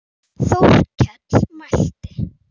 Þórkell mælti